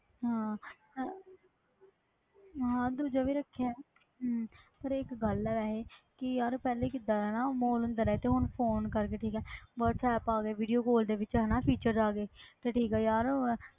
ਹਾਂ ਹਾਂ ਦੂਜਾ ਵੀ ਰੱਖਿਆ ਹੈ ਹਮ ਪਰ ਇੱਕ ਗੱਲ ਹੈ ਵੈਸੇ ਕਿ ਯਾਰ ਪਹਿਲੇ ਕਿੱਦਾਂ ਇਹ ਨਾ ਅੰਦਰ ਹੈ ਤੇ ਹੁਣ phone ਕਰਕੇ ਠੀਕ ਹੈ ਵਾਟਸੈਪ ਆ ਗਏ video call ਦੇ ਵਿੱਚ ਹਨ features ਆ ਗਏ ਤੇ ਠੀਕ ਹੈ ਯਾਰ